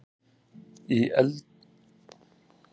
Í eldri húsum var póstaþil.